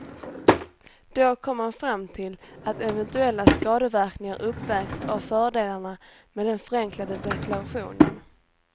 Då kom man fram till att eventuella skadeverkningar uppvägs av fördelarna med den förenklade deklarationen.